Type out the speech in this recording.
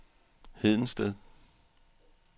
Hedensted